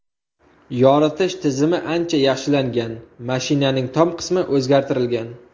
Yoritish tizimi ancha yaxshilangan, mashinaning tom qismi o‘zgartirilgan.